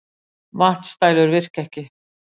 Vatnsdælur virka ekki